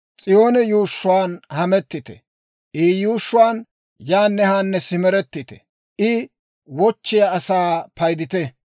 S'iyoone yuushshuwaan hamettite; I yuushshuwaan yaanne haanne simerettite. I wochchiyaa sa'aa paydite.